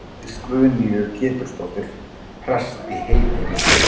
Hann giftist Guðnýju Pétursdóttur, prests í Heydölum.